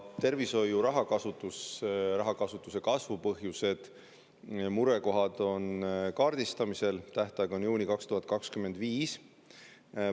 Tervishoiu rahakasutuse kasvu põhjused ja murekohad on kaardistamisel, tähtaeg on juuni 2025.